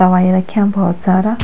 दवाई रख्याँ बहौत सारा।